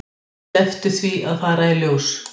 Slepptu því að fara í ljós.